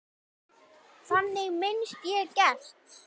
Þannig minnist ég Gests.